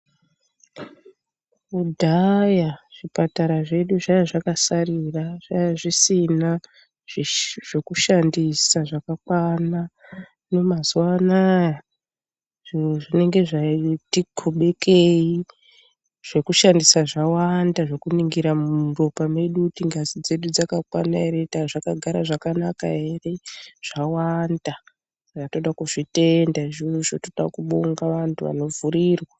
Kudhaya zvipatara zvedu zvaiva zvakasarira, zvaiva zvisina zvokushandisa zvakakwana. Mazuvano aya zvinhu zvinenge zvati xubukei. Zvokushandisa zvawanda zvokuningira muropa medu, kuti ngazi dzedu dzakakwana here, ntaa zvakagara zvakanaka here zvawanda toda kuzvitenda izvozvo, toda kubonga vantu vanovhurirwe.